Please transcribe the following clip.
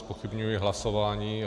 Zpochybňuji hlasování.